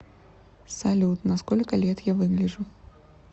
салют на сколько лет я выгляжу